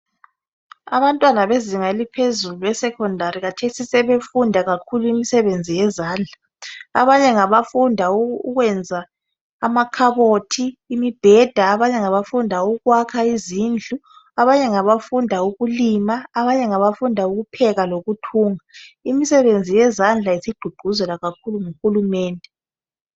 Abantwana bezinga eliphzezulu esecondary khathesi sebefunda kakhulu imisebenzi yezandla abanye ngabafunda ukwenza amakhabothi, imibheda abanye ngabafunda ukwakha izindlu abanye bengabafunda ukulima abanye ngabafunda ukupheka lokuthunga. Imisebenzi yezandla isigqugquzelwa kakhulu nguhulumende.